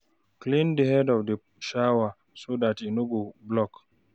Clean di head of di shower so dat e no go block